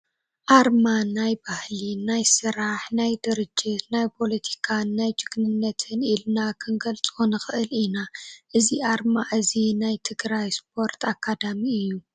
ኣርማ፡- ናይ ባህሊ፣ ናይ ስራሕ፣ ናይ ድርጅት፣ ናይ ፖለቲካን ናይ ጅግንነትን ኢልና ክንገልፆ ንኽእል ኢና፡፡ እዚ ኣርማ እዚ ናይ ትግራይ ስፖርት ኣካዳሚ እዩ፡፡